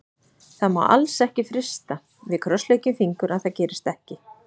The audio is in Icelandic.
Það má alls ekki frysta, við krossleggjum fingur að það gerist ekki.